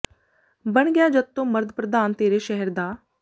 ਬਣ ਗਿਆ ਜਦ ਤੋਂ ਮਰਦ ਪ੍ਰਧਾਨ ਤੇਰੇ ਸ਼ਹਿਰ ਦਾ